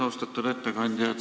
Austatud ettekandja!